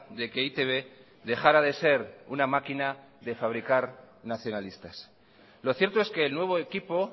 de que e i te be dejara de ser una máquina de fabricar nacionalistas lo cierto es que el nuevo equipo